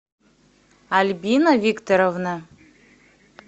альбина викторовна